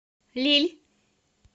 лилль